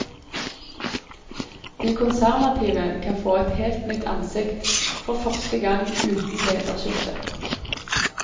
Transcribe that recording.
De konservative kan få et helt nytt ansikt, for første gang uten lederskifte.